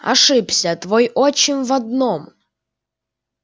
ошибся твой отчим в одном